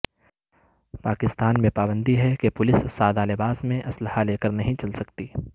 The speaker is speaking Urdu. پاکستان میں پابندی ہے کہ پولیس سادہ لباس میں اسلحہ لے کر نہیں چل سکتی